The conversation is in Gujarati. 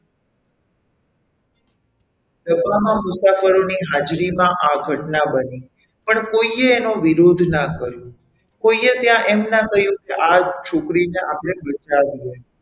ડબામાં મુસાફરોની હાજરીમાં આ ઘટના બની પણ કોઈએ એનો વિરોધ ના કર્યો કોઈએ ત્યાં એમ ના કહ્યું કે આ છોકરીને આપણે બચાવીએ.